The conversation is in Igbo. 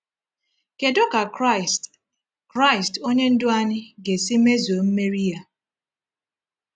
Kedu ka Kraịst Kraịst Onye Ndú anyị ga-esi mezue mmeri Ya?